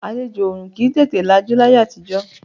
Àlejò ọ̀ọ̀run kì í tètè lajú láyé àtijọ́